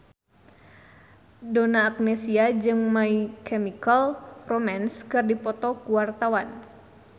Donna Agnesia jeung My Chemical Romance keur dipoto ku wartawan